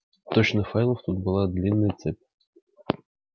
точно файлов тут была длинная цепь